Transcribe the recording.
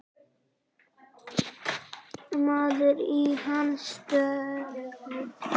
Maður í hans stöðu.